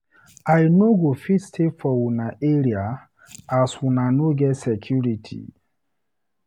I no go fit stay for una area as una no get security.